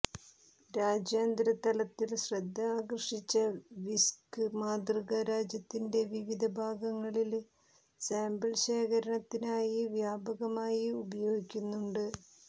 രാജ്യാന്തര തലത്തിൽ ശ്രദ്ധ ആകർഷിച്ച വിസ്ക് മാതൃക രാജ്യത്തിന്റെ വിവിധ ഭാഗങ്ങളില് സാമ്പിൾ ശേഖരണത്തിനായി വ്യാപകമായി ഉപയോഗിക്കുന്നുണ്ട്